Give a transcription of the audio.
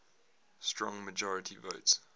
strong majority votes